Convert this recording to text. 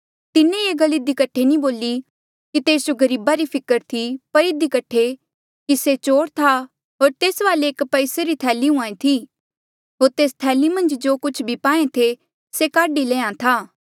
तिन्हें ये गल इधी कठे नी बोली कि तेस जो गरीबा री फिकर थी पर इधी कठे कि से चोर था होर तेस वाले एक पैसेया री थैली हुईं थी होर तेस थैली मन्झ जो कुछ भी पाहें थे से काढी लैंहां था